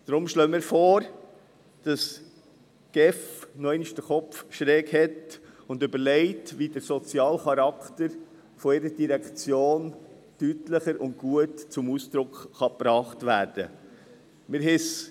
Deshalb schlagen wir vor, dass die GEF ihren Kopf noch einmal schief hält und überlegt, wie der soziale Charakter der Direktion deutlicher und gut zum Ausdruck gebracht werden kann.